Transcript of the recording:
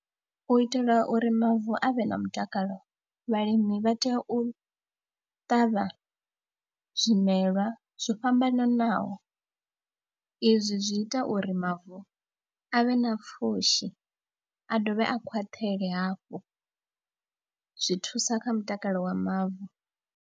U itela uri mavu a vhe na mutakalo vhalimi vha tea u ṱavha zwimelwa zwo fhambananaho, izwi zwi ita uri mavu a vhe na pfhushi a dovhe a khwaṱhela hafhu, zwi thusa kha mutakalo wa mavu.